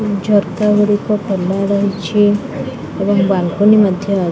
ଝରକାଗୁଡିକ ଖୋଲାରହିଛି ଏବଂ ବାଲକନୀ ମଧ୍ୟ --